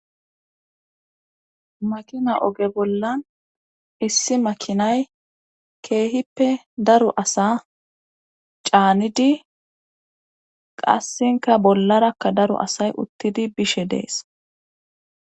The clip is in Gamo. Makina oge bollan issi makinay keehippe daro asaa caanidi qassika bollarakka daro asay uttidi bishe de7ees.